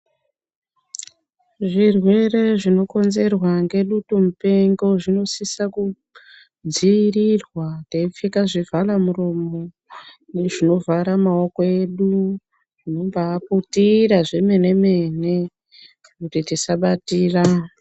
Zvirwere zvinokonzerwa ngedutu mupengo zvinosisa kudzivirirwa teipfeka zvivhalamuromo nezvinovhara maoko edu kubai putira zvemene mene kuti tisabatira.